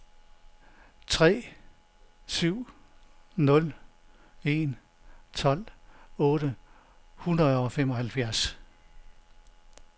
tre syv nul en tolv otte hundrede og femoghalvfjerds